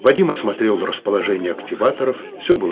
вадим осмотрел расположение активаторов все было